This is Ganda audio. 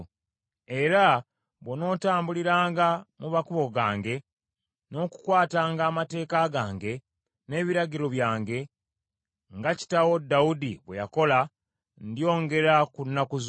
Era bw’onootambuliranga mu makubo gange, n’okukwatanga amateeka gange n’ebiragiro byange, nga kitaawo Dawudi bwe yakola, ndyongera ku nnaku zo.”